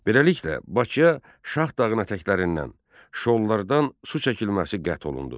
Beləliklə Bakıya Şah dağının ətəklərindən, şollardan su çəkilməsi qət olundu.